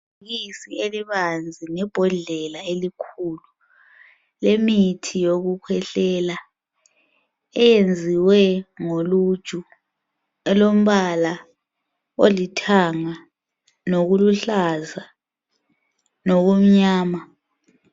Ibisi elibanzi lebhodlela elikhulu lemithi yokukhwehlela eyenziwe ngoluju, elombala olithanga nokuluhlaza nokumnyama.